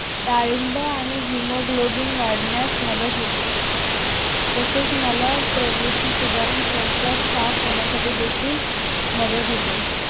डाळिंब आणि haemoglobin वाढण्यास मदत होते तसेच मलप्रवृत्ती सुधारून शौचास साफ होण्यासाथी देखील मदत होते